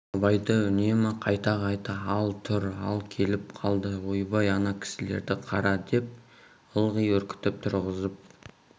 абайды үнемі қайта-қайта ал тұр ал келіп қалды ойбай ана кісілерді қара деп ылғи үркітіп тұрғызып